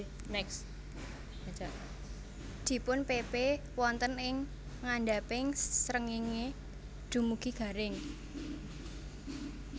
Dipunpepe wonten ing ngandhaping srengéngé dumugi garing